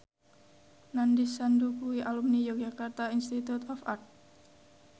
Nandish Sandhu kuwi alumni Yogyakarta Institute of Art